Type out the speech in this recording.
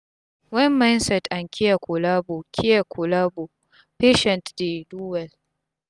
wen mindset and care collabo care collabo patient dey do wel